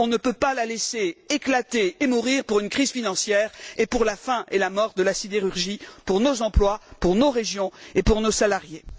On ne peut pas la laisser éclater et mourir pour une crise financière, et pour la fin et la mort de la sidérurgie, pour nos emplois, pour nos régions et pour nos salariés.